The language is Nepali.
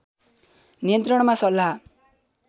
नियन्त्रणमा सल्लाह